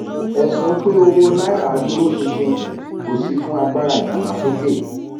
ẹsùn pe owó nàírà dúró ṣinṣin kó sì fún agbára ìdàgbàsókè